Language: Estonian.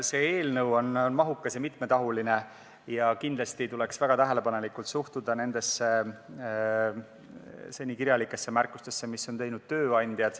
See eelnõu on mahukas ja mitmetahuline ning kindlasti tuleks väga tähelepanelikult suhtuda nendesse seni kirjalikesse märkustesse, mis on teinud tööandjad.